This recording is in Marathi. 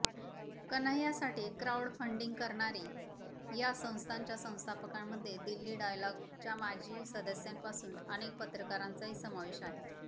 कन्हैयासाठी क्राउड फंडिंग करणारी या संस्थेच्या संस्थापकांमध्ये दिल्ली डायलॉगच्या माजी सदस्यांपासून अनेक पत्रकारांचाही समावेश आहे